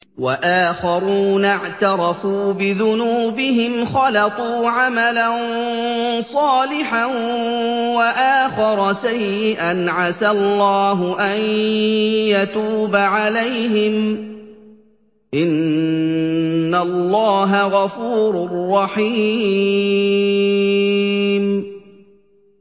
وَآخَرُونَ اعْتَرَفُوا بِذُنُوبِهِمْ خَلَطُوا عَمَلًا صَالِحًا وَآخَرَ سَيِّئًا عَسَى اللَّهُ أَن يَتُوبَ عَلَيْهِمْ ۚ إِنَّ اللَّهَ غَفُورٌ رَّحِيمٌ